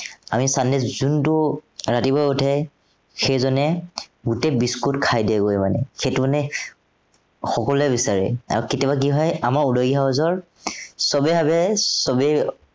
আমি sunday ত যোনটো ৰাতিপুৱা উঠে, সেইজনেই গোটেই buiscuit খাই দিয়েগৈ মানে। সেইটো মানে, সকলোৱে বিচাৰে। আৰু কেতিয়াবা কি হয় আমাৰ house ৰ সৱেই ভাৱে, সৱেই